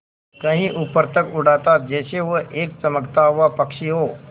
कहीं ऊपर तक उड़ाता जैसे वह एक चमकता हुआ पक्षी हो